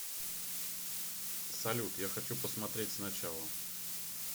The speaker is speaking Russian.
салют я хочу посмотреть с начала